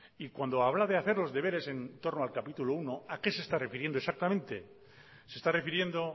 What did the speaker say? y cuando habla de hacer los deberes en torno al capítulo primero a qué se está refiriendo exactamente se está refiriendo